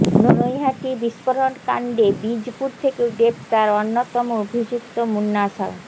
নৈহাটি বিস্ফোরণকাণ্ডে বীজপুর থেকে গ্রেফতার অন্যতম অভিযুক্ত মুন্না সাউ